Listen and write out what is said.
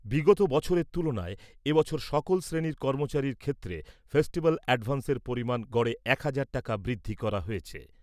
বিগত বছরের তুলনায় এ বছর সকল শ্রেণীর কর্মচারীদের ক্ষেত্রে ফেস্টিভ্যাল অ্যাডভান্সের পরিমাণ গড়ে একহাজার টাকা বৃদ্ধি করা হয়েছে ।